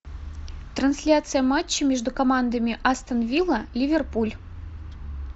трансляция матча между командами астон вилла ливерпуль